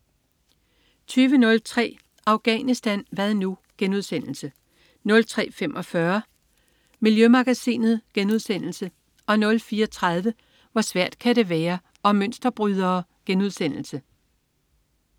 20.03 Afghanistan hvad nu?* 03.45 Miljømagasinet* 04.30 Hvor svært kan det være? Om mønsterbrydere*